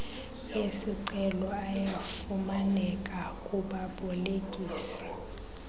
esicelo ayafumaneka kubabolekisi